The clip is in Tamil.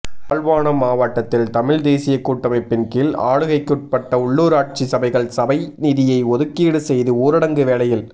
யாழ்ப்பாணம் மாவட்டத்தில் தமிழ் தேசியக் கூட்டமைப்பின் கீழ் ஆளுகைக்குட்பட்ட உள்ளூராட்சி சபைகள் சபை நிதியை ஒதுக்கீடு செய்து ஊரடங்கு வேளையில்